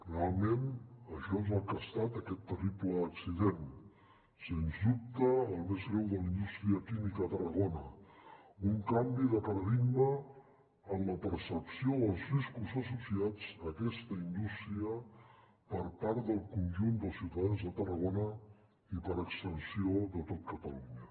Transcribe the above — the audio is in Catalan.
realment això és el que ha estat aquest terrible accident sens dubte el més greu de la indústria química a tarragona un canvi de paradigma en la percepció dels riscos associats a aquesta indústria per part del conjunt dels ciutadans de tarragona i per extensió de tot catalunya